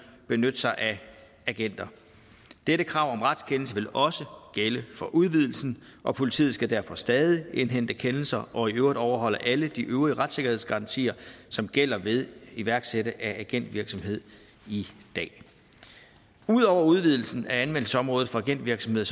benytte sig af agenter dette krav om retskendelse vil også gælde for udvidelsen og politiet skal derfor stadig indhente kendelser og i øvrigt overholde alle de øvrige retssikkerhedsgarantier som gælder ved iværksættelse af agentvirksomhed i dag ud over udvidelsen af anvendelsesområdet for agentvirksomhed